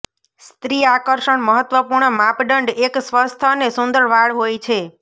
સ્ત્રી આકર્ષણ મહત્વપૂર્ણ માપદંડ એક સ્વસ્થ અને સુંદર વાળ હોય છે